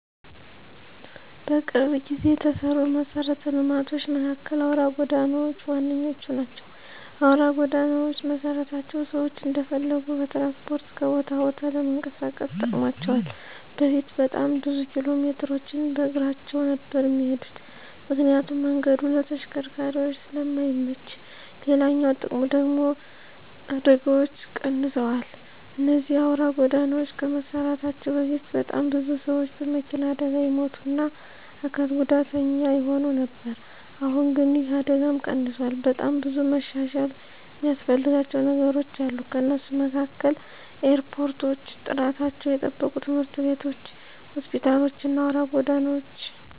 በቅርብ ጊዜ የተሰሩ መሰረተ ልማቶች መካከል አውራ ጎዳናዎች ዋነኞቹ ናቸው። አውራ ጎዳናዎች መሰራታቸው ሰዎች እንደፈለጉ በትራንስፖርት ከቦታ ቦታ ለመንቀሳቀስ ጠቅሟቸዋል በፊት በጣም ብዙ ኪሎሜትሮችን በእግራቸው ነበር እሚሄዱት ምክንያቱም መንገዱ ለተሽከርካሪዎች ስለማይመች፤ ሌላኛው ጥቅሙ ደግሙ ደግሞ አደጋዎች ቀንሰዋል እነዚህ አውራ ጎዳናዎች ከመሰራታቸው በፊት በጣም ብዙ ሰዎች በመኪና አደጋ ይሞቱ እና አካል ጉዳተኛ ይሆኑ ነበር አሁን ግን ይህ አደጋም ቀንሷል። በጣም ብዙ መሻሻል እሚያስፈልጋቸው ነገሮች አሉ ከነሱም መካከል ኤርፖርቶች፣ ጥራታቸውን የጠበቁ ትምህርት ቤቶች፣ ሆስፒታሎች እና አውራ ጎዳናዎች።